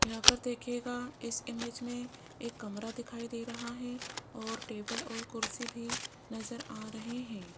यहां पर देखिएगा इस इमेज मे एक कमरा दिखाई दे रहा है और टेबल और कुर्सी भी नज़र आ रहे है।